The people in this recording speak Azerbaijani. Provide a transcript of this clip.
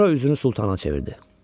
Sonra üzünü Sultana çevirdi.